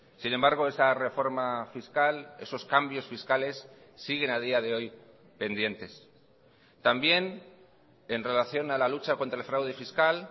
sin embargo esa reforma fiscal esos cambios fiscales siguen a día de hoy pendientes también en relación a la lucha contra el fraude fiscal